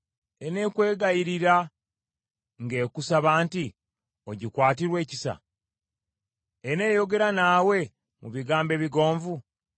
Eneekwegayirira ng’ekusaba nti, ogikwatirwe ekisa? Eneeyogera naawe mu bigambo ebigonvu?